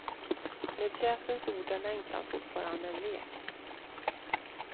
Med pjäsens ord är längtan fortfarande en lek.